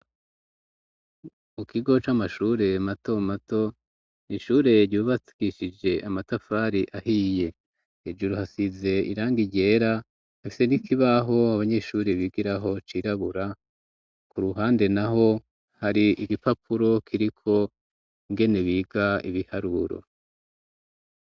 Mu kigo c'amashure matomato ishure ryubatwishije amatafari ahiye ejuru hasize iranga ryera hafise nikibaho abanyeshuri bigiraho cirabura ku ruhande na ho hari igipapuro kiriko ngene biga ibiharuro.